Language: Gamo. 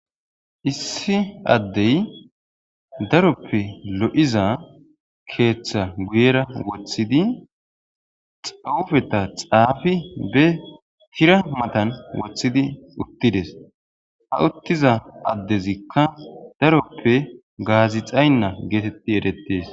issi addey daroppe lo7iza keeththa guyera woththidi xawufeta xaafi be hira matan woththidi uttides ha uttiza addezikka daroppe gaazi xaynna geetetti erettees